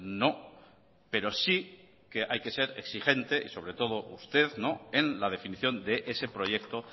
no pero sí que hay que ser exigente y sobre todo usted en la definición de ese proyecto